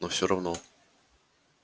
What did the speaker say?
но всё равно